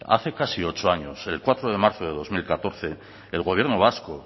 hace casi ocho años el cuatro de marzo de dos mil catorce el gobierno vasco